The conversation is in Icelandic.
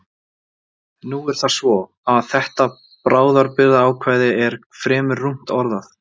Nú er það svo, að þetta bráðabirgðaákvæði er fremur rúmt orðað.